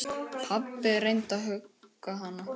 Pabbi reyndi að hugga hana.